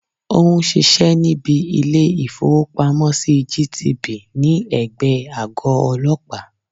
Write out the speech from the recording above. Ó n sisé níbi Ilé ìfowópamọ́ sí GTB ní ègbé e àgọ́ ọlọ́pàá